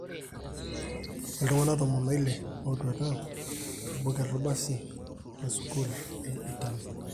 Iltunganak tomon oile etwata tobuket lo basi le sukul le Italia.